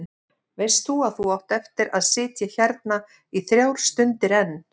Veist að þú átt eftir að sitja hérna í þrjár stundir enn.